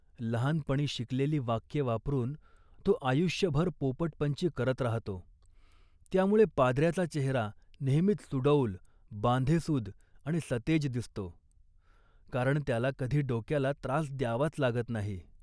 लहानपणी शिकलेली वाक्ये वापरून तो आयुष्यभर पोपटपंची करत राहतो. त्यामुळे, पाद्रयाचा चेहरा नेहमीच सुडौल, बांधेसूद आणि सतेज दिसतो, कारण त्याला कधी डोक्याला त्रास द्यावाच लागत नाही